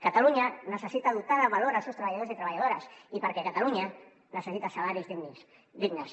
catalunya necessita dotar de valor els seus treballadors i treballadores i catalunya necessita salaris dignes